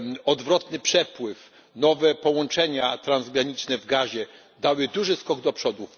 Odwrotny przepływ, nowe połączenia transgraniczne w gazie dały duży skok do przodu.